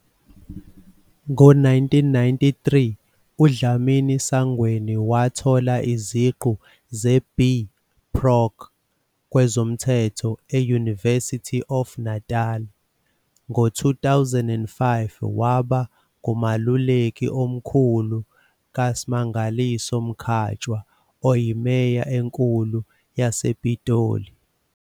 Ngo-1993, uDlamini-Sangweni wathola iziqu ze-B. Proc kwezomthetho e- University of Natal. Ngo-2005, waba ngumeluleki omkhulu kaSmangaliso Mkhatshwa, oyiMeya enkulu yasePitoli.